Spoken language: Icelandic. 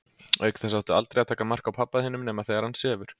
Auk þess áttu aldrei að taka mark á pabba þínum nema þegar hann sefur.